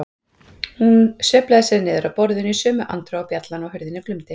Hún sveiflaði sér niður af borðinu í sömu andrá og bjallan á hurðinni glumdi.